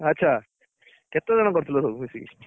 ଆଚ୍ଛା କେତେଜଣ କରୁଥିଲ ସବୁ ମିଶିକି?